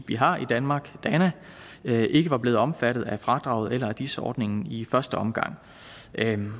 vi har i danmark dana ikke var blevet omfattet af fradraget eller af dis ordningen i første omgang